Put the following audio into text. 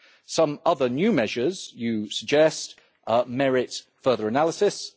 Some other new measures you suggest merit further analysis.